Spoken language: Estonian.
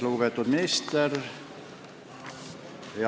Lugupeetud minister!